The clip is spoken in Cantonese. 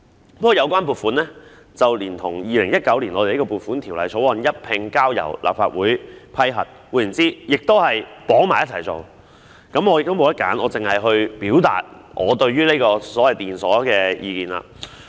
不過，有關撥款連同《2019年撥款條例草案》一併交由立法會批核，換言之，也是捆綁式處理，我沒有選擇，只能表達我對電鎖系統的意見。